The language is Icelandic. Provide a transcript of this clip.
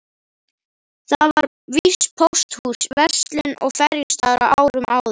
Þar var víst pósthús, verslun og ferjustaður á árum áður.